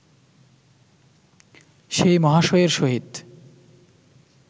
সেই মহাশয়ের সহিত